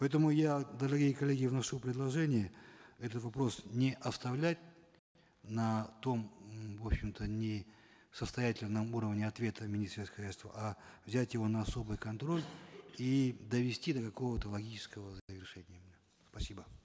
поэтому я дорогие коллеги вношу предложение этот вопрос не оставлять на том в общем то не состоятельном уровне ответа сельского хозяйства а взять его на особый контроль и довести до какого то логического завершения спасибо